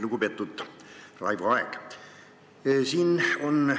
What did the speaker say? Lugupeetud Raivo Aeg!